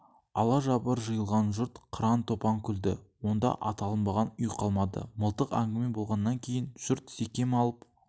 алажабыр жиылған жұрт қыран-топан күлді онда аталынбаған үй қалмады мылтық әңгіме болғаннан кейін жұрт секем алып